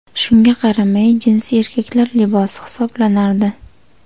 Shunga qaramay, jinsi erkaklar libosi hisoblanardi.